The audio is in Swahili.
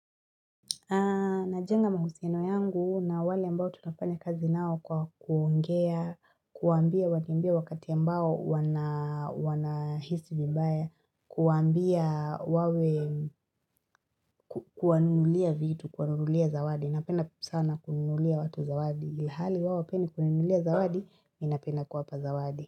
Najenga mahusiano yangu na wale ambao tutafanya kazi nao kwa kuongea, kuambia wakimbie wakati ambao wana wana hisi vibaya, kuwambia wawe kuwanunulia vitu, kuwanunulia zawadi. Napenda sana kununulia watu zawadi. Hali hawapendi kuninunulia zawadi, ninapenda kuwapa zawadi.